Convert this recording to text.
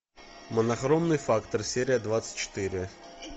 монохромный фактор серия двадцать четыре